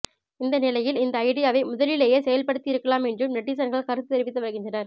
இந்த நிலையில் இந்த ஐடியாவை முதலிலேயே செயல்படுத்தி இருக்கலாம் என்றும் நெட்டிசன்கள் கருத்து தெரிவித்து வருகின்றனர்